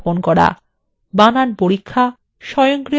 বানান পরীক্ষা স্বয়ংক্রিয়ভাবে সংশোধন